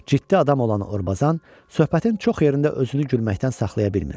Ciddi adam olan Orbazan söhbətin çox yerində özünü gülməkdən saxlaya bilmir.